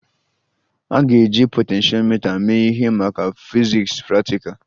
A ga-eji potentiomita mee ihe maka fiziks praktikal?